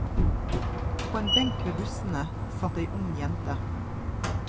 På en benk ved bussene satt ei ung jente.